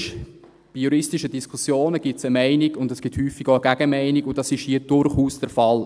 Bei juristischen Diskussionen gibt es eine Meinung, und es gibt häufig auch eine Gegenmeinung, und das ist hier durchaus der Fall.